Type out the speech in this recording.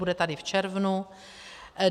Bude tady v červnu.